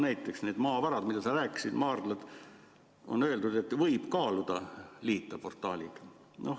Näiteks nende maavarade kohta, millest sa rääkisid, maardlad, on öeldud, et võib kaaluda, et liita portaaliga.